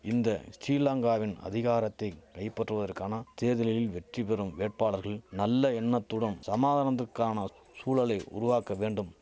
இந்த ஸ்டிலங்காவின் அதிகாரத்தை கைபற்றுவதற்கான தேர்தலில் வெற்றி பெறும் வேட்பாளர்கள் நல்ல எண்ணத்துடும் சமாதனத்துக்கான சூழலை உருவாக்க வேண்டும்